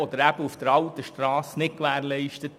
Sie ist auf der alten Strasse nicht gewährleistet.